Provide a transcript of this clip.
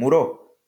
Muro,